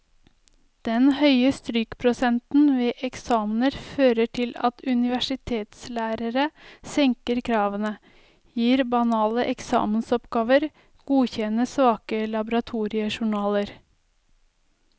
Den høye strykprosenten ved eksamener fører til at universitetslærere senker kravene, gir banale eksamensoppgaver, godkjenner svake laboratoriejournaler.